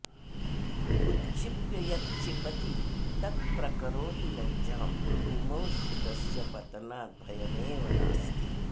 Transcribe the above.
उत्क्षिप्य यत्क्षिपति तत्प्रकरोति लज्जां भूमौ स्थितस्य पतनाद्भयमेव नास्ति